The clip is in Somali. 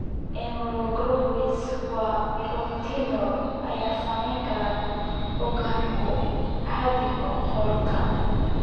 Immunoglobulins waa borotiinno ay sameeyeen unugyo cadcad oo qaarkood.